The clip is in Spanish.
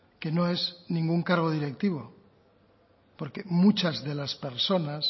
que no es ningún cargo directivo porque muchas de las personas